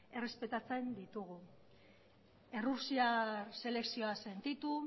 errespetatzen ditugu errusiar selekzioa sentitu